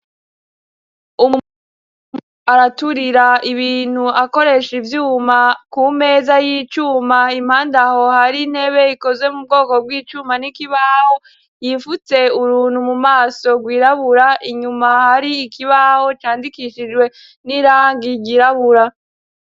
Umuntu araturira ibintu akoresha ivyuma ku meza y'icuma impanda aho hari ntebe rikozwe mu bwoko bw'icuma n'ikibaho, yifutse uruntu mu maso rwirabura inyuma hari ikibaho candikishijwe n'irangi ryirabura.